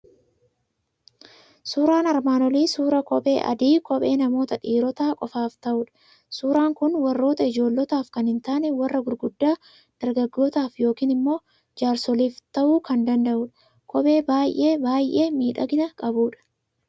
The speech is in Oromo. Suuraan armaan olii suuraa kophee adii, kophee namoota dhiirotaa qofaaf ta'udha. Suuraan kun warra ijoollotaaf kan hin taane, warra gurguddaa, dargaggootaaf yookiin jaarsoliif ta'uu kan danda'udha. Kophee baaybaay'ee miidhagina qabudha.